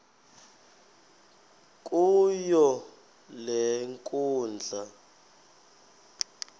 kuyo le nkundla